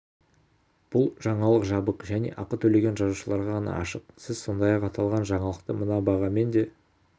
бұл жаңалық жабық және ақы төлеген жазылушыларға ғана ашық сіз сондай-ақ аталған жаңалықты мына бағамен де